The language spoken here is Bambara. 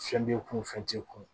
Fɛn b'i kun fɛn t'i kun